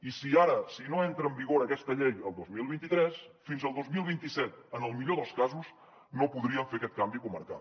i si no entra en vigor aquesta llei el dos mil vint tres fins al dos mil vint set en el millor dels casos no podrien fer aquest canvi comarcal